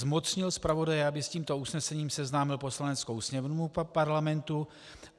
Zmocnil zpravodaje, aby s tímto usnesením seznámil Poslaneckou sněmovnu Parlamentu.